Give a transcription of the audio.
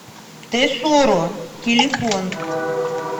тесоро телефон